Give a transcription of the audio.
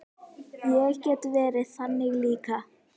Ég get verið þannig líka.